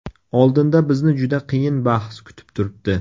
Oldinda bizni juda qiyin bahs kutib turibdi.